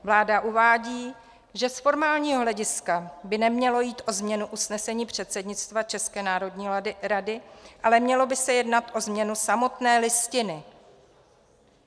Vláda uvádí, že z formálního hlediska by nemělo jít o změny usnesení předsednictva České národní rady, ale mělo by se jednat o změnu samotné Listiny.